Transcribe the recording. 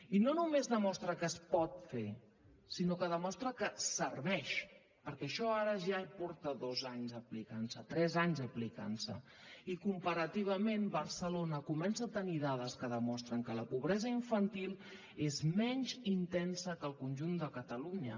i no només demostra que es pot fer sinó que demostra que serveix perquè això ara ja porta tres anys aplicant se i comparativament barcelona comença a tenir dades que demostren que la pobresa infantil és menys intensa que al conjunt de catalunya